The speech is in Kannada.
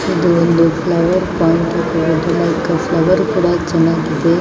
ಇದು ಒಂದು ಫ್ಲವರ್ ಪಾಯಿಂಟ್ ಅಂತ ಹೇಳಬಹುದು ಲೈಕ ಫ್ಲವರು ಕೂಡ ಚೆನ್ನಾಗಿದೆ .